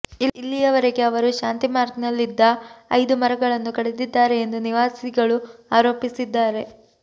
ಇಲ್ಲಿಯವರೆಗೆ ಅವರು ಶಾಂತಿ ಮಾರ್ಗ್ನಲ್ಲಿದ್ದ ಐದು ಮರಗಳನ್ನು ಕಡಿದಿದ್ದಾರೆ ಎಂದು ನಿವಾಸಿಗಳು ಆರೋಪಿಸಿದ್ದಾರೆ